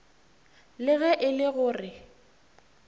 le ge e le gore